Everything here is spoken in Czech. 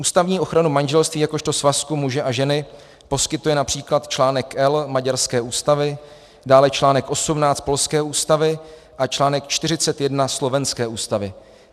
Ústavní ochranu manželství jakožto svazku muže a ženy poskytuje například článek "L" maďarské ústavy, dále článek 18 polské ústavy a článek 41 slovenské ústavy.